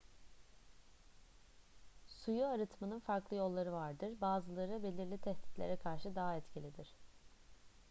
suyu arıtmanın farklı yolları vardır bazıları belirli tehditlere karşı daha etkilidir